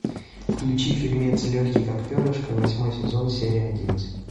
включи фильмец легкий как перышко восьмой сезон серия одиннадцать